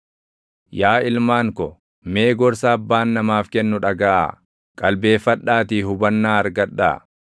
Yaa ilmaan ko, mee gorsa abbaan namaaf kennu dhagaʼaa; qalbeeffadhaatii hubannaa argadhaa.